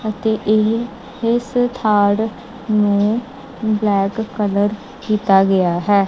ਅਤੇ ਇਹ ਇੱਸ ਪਾਰਕ ਨੂੰ ਬਲੈਕ ਕਲਰ ਕੀਤਾ ਗਿਆ ਹੈ।